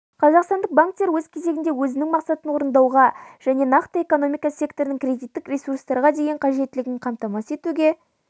қазақстандық банктер өз кезегінде өзінің мақсатын орындауға және нақты экономика секторының кредиттік ресурстарға деген қажеттілігін қамтамасыз етуге